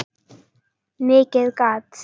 Mikið gat